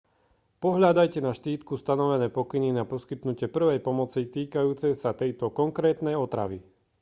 pohľadajte na štítku stanovené pokyny na poskytnutie prvej pomoci týkajúce sa tejto konkrétnej otravy